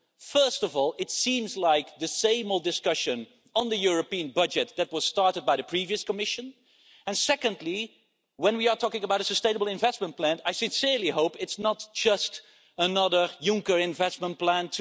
First of all, it seems like the same old discussion on the European budget that was started by the previous Commission, and secondly, when we are talking about a sustainable investment plan, I sincerely hope it's not just another Juncker investment plan